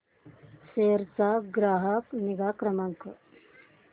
सेरा चा ग्राहक निगा क्रमांक